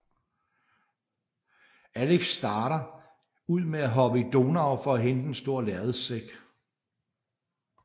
Alex starter ud med at hoppe i Donau for at hente en stor lærredssæk